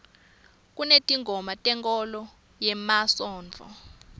kunetingoma tenkholo yemasontfo